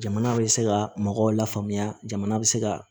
Jamana bɛ se ka mɔgɔw la faamuya jamana bɛ se ka